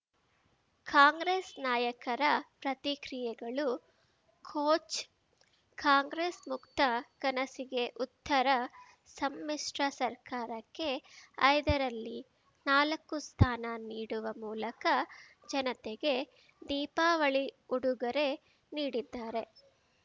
ಕಾಂಗ್ರೆಸ್‌ ನಾಯಕರ ಪ್ರತಿಕ್ರಿಯೆಗಳು ಕೋಚ್ ಕಾಂಗ್ರೆಸ್‌ ಮುಕ್ತ ಕನಸಿಗೆ ಉತ್ತರ ಸಮ್ಮಿಶ್ರ ಸರ್ಕಾರಕ್ಕೆ ಐದರಲ್ಲಿ ನಾಲ್ಕು ಸ್ಥಾನ ನೀಡುವ ಮೂಲಕ ಜನತೆ ದೀಪಾವಳಿ ಉಡುಗೊರೆ ನೀಡಿದ್ದಾರೆ